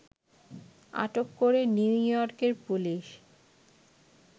আটক করে নিউ ইয়র্কের পুলিশ